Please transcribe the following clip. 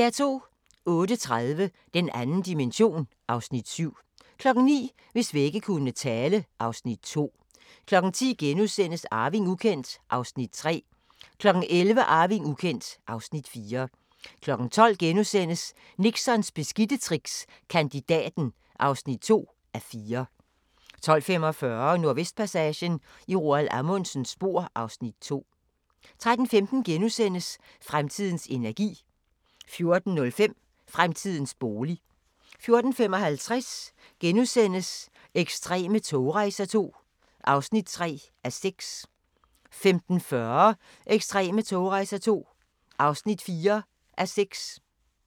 08:30: Den 2. dimension (Afs. 7) 09:00: Hvis vægge kunne tale (Afs. 2) 10:00: Arving ukendt (Afs. 3)* 11:00: Arving ukendt (Afs. 4) 12:00: Nixons beskidte tricks – Kandidaten (2:4)* 12:45: Nordvestpassagen – i Roald Amundsens spor (Afs. 2) 13:15: Fremtidens energi * 14:05: Fremtidens bolig 14:55: Ekstreme togrejser II (3:6)* 15:40: Ekstreme togrejser II (4:6)